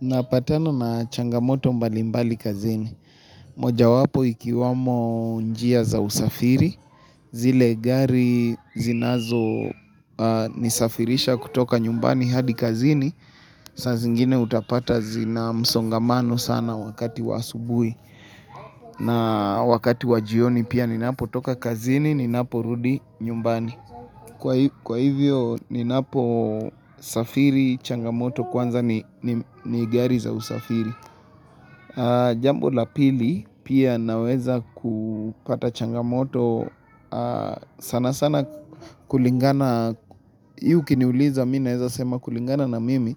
Napatana na changamoto mbalimbali kazini. Moja wapo ikiwamo njia za usafiri. Zile gari zinazonisafirisha kutoka nyumbani hadi kazini. Saa zingine utapata zina msongamano sana wakati wa aubuhi. Na wakati wa jioni pia ninapotoka kazini ninaporudi nyumbani. Kwa Kwa hivyo ninaposafiri changamoto kwanza ni gari za usafiri. Jambo la pili pia naweza kupata changamoto sana sana kulingana Hii ukiniuliza mimi naeza sema kulingana na mimi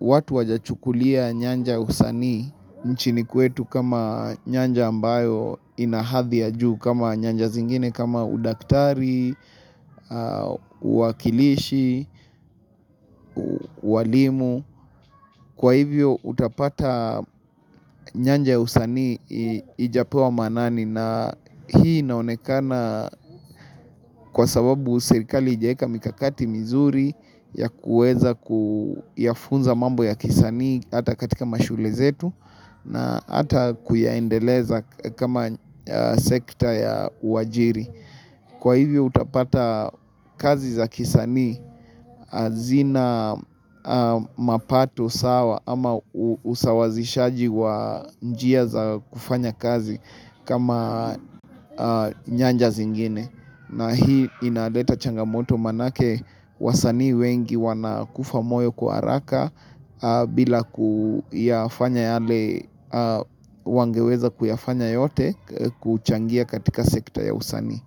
watu hawajachukulia nyanja usanii nchini kwetu kama nyanja ambayo ina hadhi ya juu kama nyanja zingine kama udaktari, uwakilishi, ualimu. Kwa hivyo utapata nyanja ya usanii haijapewa maanani na hii inaonekana kwa sababu serikali haijaeka mikakati mizuri ya kuweza ya kuyafunza mambo ya kisanii hata katika mashule zetu na hata kuyaendeleza kama sekta ya uajiri. Kwa hivyo utapata kazi za kisanii hazina mapato sawa ama usawazishaji wa njia za kufanya kazi kama nyanja zingine. Na hii inaleta changamoto manake wasanii wengi wanakufa moyo kwa haraka bila kuyafanya wangeweza kuyafanya yote kuchangia katika sekta ya usanii.